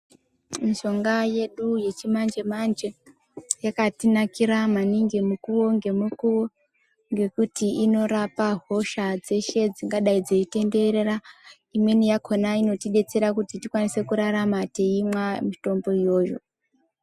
Mishonga yedu yechi manje manje yakati nakira maningi mukuwo nge mukuwo ngekuti ino rapa hosha dzeshe dzingadai dzeyi tenderera imweni yakona inoti detsera kuti tikwanisa kurarama teimwa mitombo yoyo.